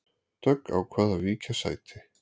Dögg ákvað að víkja sæti